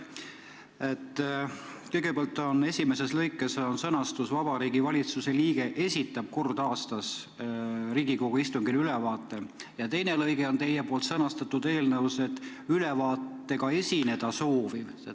Kõigepealt on esimeses lõikes sõnastus "Vabariigi Valitsuse liige esitab kord aastas Riigikogu istungil ülevaate", teises lõikes on aga teie sõnastatud eelnõus "Ülevaatega esineda sooviv ...".